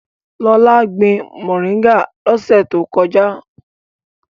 Lọlá gbin mòríngà lọ́sẹ̀ tó kọjá.